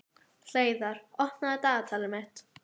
Hleiðar, opnaðu dagatalið mitt.